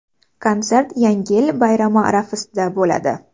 Konsert Yangi yil bayrami arafasida bo‘ladi.